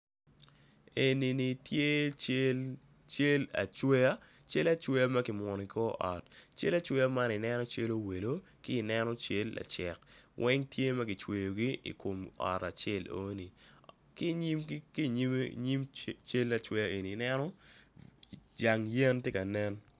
Enini tye cal acweya makimwono i kor ot cal acweya man i neno calo welo ci neno cal lacek weng tye magicweo gi i kom ot acel enoni ki nyim cal acweya eni i neno jang yen tye kanen.